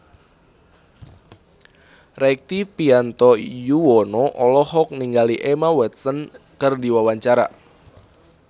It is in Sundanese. Rektivianto Yoewono olohok ningali Emma Watson keur diwawancara